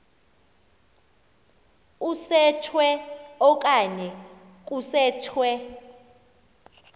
usetshwe okanye kusetshwe